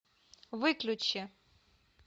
выключи